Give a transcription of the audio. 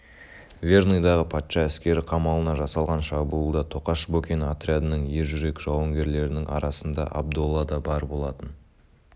верныйдағы патша әскері қамалына жасалған шабуылда тоқаш бокин отрядының ер жүрек жауынгерлерінің арасында абдолла да бар болатын